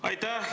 Aitäh!